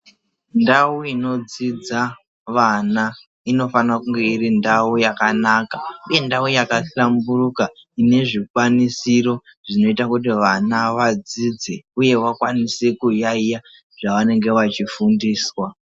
Ndau inodzidza vana inofana kunge irindau yakanaka uye ndau yakahlamburuka ine zvikwanisiro zvinoita kuti vana vadzidze uye vakwanise kuyaiya zvavanenge vachifundiswa.